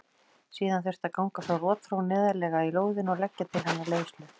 Síðan þurfti að ganga frá rotþró neðarlega í lóðinni og leggja til hennar leiðslu.